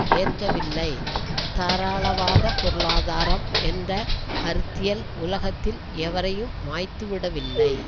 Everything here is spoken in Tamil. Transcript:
ஏற்கவில்லை தாராளவாத பொருளாதாரம் என்ற கருத்தியல் உலகத்தில் எவரையும் மாய்த்துவிடவில்லை